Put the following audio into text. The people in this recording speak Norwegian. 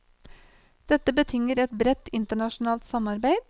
Dette betinger et bredt internasjonalt samarbeid.